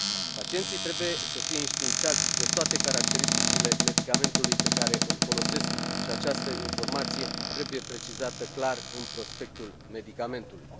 Pacienții trebuie să fie înștiințați de toate caracteristicile medicamentului pe care îl folosesc și această informație trebuie precizată clar în prospectul medicamentului.